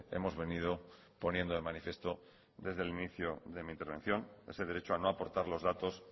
hemos venido poniendo de manifiesto desde el inicio de mi intervención ese derecho a no aportar los datos